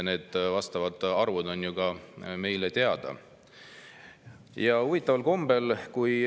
Need arvud on meile ju ka teada.